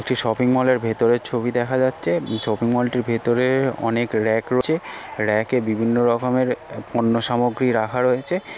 একটি shopping mall -এর ভিতরের ছবি দেখা যাচ্ছে । শপিং মল -টির ভিতরে অনেক রেক রয়েছে রেক -এ বিভিন্ন রকমের এ পন্য সামগ্রী রাখা রয়েছে ।